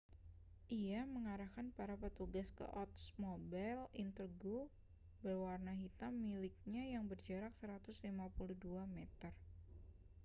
ia mengarahkan para petugas ke oldsmobile intrigue berwarna hitam miliknya yang berjarak 152 meter